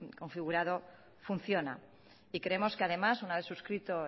configurado funciona y creemos que además una vez suscrito